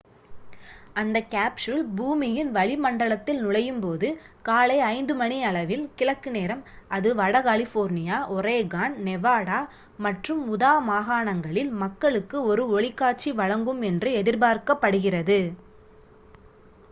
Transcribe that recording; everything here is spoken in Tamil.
அந்தக் கேப்சூல் பூமியின் வளி மண்டலத்தில் நுழையும் போது காலை 5 மணியளவில் கிழக்கு நேரம் அது வட கலிபோர்னியா ஒரேகான் நெவாடா மற்றும் உதா மாகாணங்களில் மக்களுக்கு ஒரு ஒளிக்காட்சி வழங்கும் என்று எதிர்பார்க்கப் படுகிறது